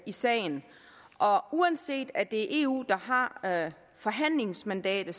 i sagen og uanset at det er eu der har forhandlingsmandatet